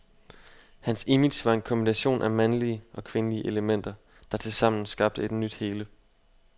Hans image var en kombination af mandlige og kvindelige elementer, der tilsammen skabte et nyt hele.